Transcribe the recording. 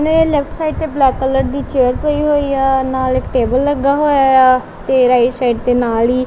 ਨੇ left side ਤੇ black colour ਦੀ ਚੇਅਰ ਪਈ ਹੋਈ ਆ ਨਾਲ ਇੱਕ ਟੇਬਲ ਲੱਗਾ ਹੋਇਆ ਆ ਤੇ ਰਾਈਟ ਸਾਈਡ ਤੇ ਨਾਲ ਹੀ --